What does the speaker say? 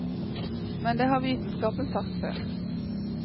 Men det har vitenskapen sagt før.